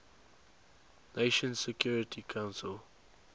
nations security council